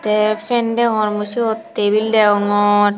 te fan degongor mui suot tebil deongor.